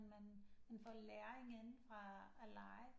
Man får læring ind fra at lege